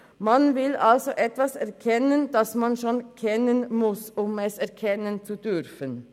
Man will also etwas erkennen, das man schon kennen muss, um es erkennen zu dürfen.